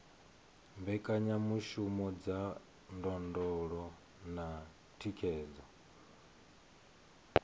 mbekanyamishumo dza ndondolo na thikhedzo